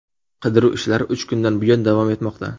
Qidiruv ishlari uch kundan buyon davom etmoqda.